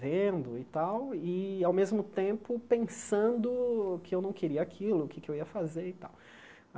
vendo e tal, e, ao mesmo tempo, pensando que eu não queria aquilo, o que é que eu ia fazer e tal.